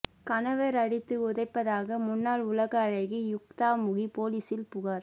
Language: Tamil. கணவர் அடித்து உதைப்பதாக முன்னாள் உலக அழகி யுக்தா முகி போலீசில் புகார்